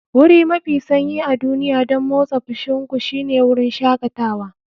Wuri mafi sanyi a duniya don motsa fushin ku shine wurin shakatawa.